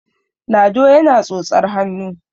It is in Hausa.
lado yana tsotsar hannu